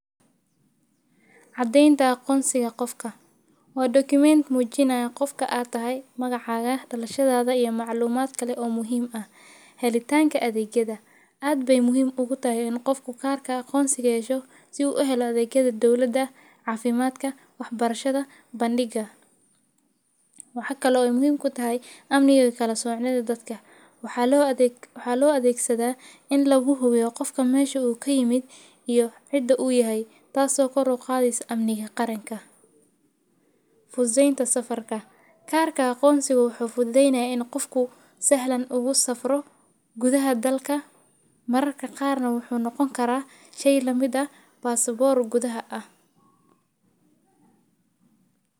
Caddaynta qoonsiga qofka. Waa document muujinaya qofka aad tahay magacaaga, dalashadaada iyo macluumaad kale oo muhiima. Helitaanka adeegyada. Aad bay muhiim ugu tahay in qofku kaarka qoonsiga hesho si uu ahay la deegyada dawladda, caafimaadka, waxbarshada, bandhiga. Waxakala oo muhiim ku tahay amnigga kala soocno dadka. Waxaa loo adeegsadaa in lagu hubiyo qofka meesha uu ka yimid iyo cidda u yahay taasoo ka roqo adaysa amniga qaranka. Fududeynta safarka. Kaarka qoonsiga wuxuu fududeynaa in qofku sahlan ugu safro gudaha dalka. Mararka qaarna wuxuu noqon karaa shay la mida baasaboorka gudaha ah.